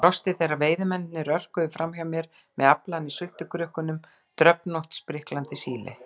Ég brosti þegar veiðimennirnir örkuðu framhjá mér með aflann í sultukrukkunum, dröfnótt, spriklandi síli.